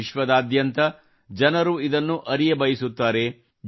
ವಿಶ್ವದಾದ್ಯಂತದ ಜನರು ಇದನ್ನು ಅರಿಯಬಯಸುತ್ತಾರೆ